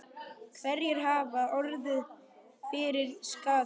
Hverjir hafa orðið fyrir skaða?